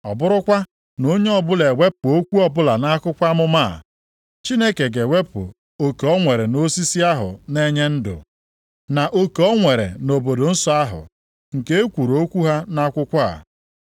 Ọ bụrụkwa na onye ọbụla ewepụ okwu ọbụla nʼakwụkwọ amụma a, Chineke ga-ewepụ oke o nwere nʼosisi ahụ na-enye ndụ, na oke o nwere nʼobodo nsọ ahụ, nke e kwuru okwu ha nʼakwụkwọ a.